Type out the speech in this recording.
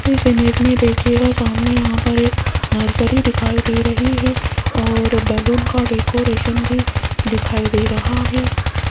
इस इमेज में दिखेगा सामने यहां पर एक नर्सरी दिखाई दे रही है और बैलून का डेकोरेशन भी दिखाई दे रहा है।